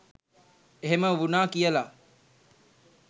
එහෙම වුනා කියල